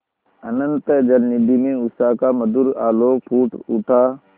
अनंत जलनिधि में उषा का मधुर आलोक फूट उठा